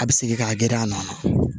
A bɛ segin k'a geren a nɔ na